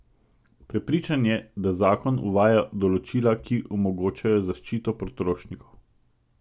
Prepričan je, da zakon uvaja določila, ki omogočajo zaščito potrošnikov.